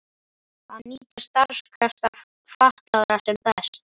Að nýta starfskrafta fatlaðra sem best.